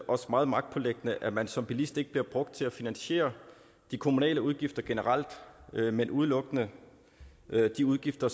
også meget magtpåliggende at man som bilist ikke bliver brugt til at finansiere de kommunale udgifter generelt men udelukkende de udgifter